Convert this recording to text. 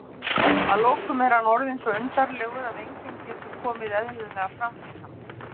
að lokum er hann orðinn svo undarlegur að enginn getur komið eðlilega fram við hann.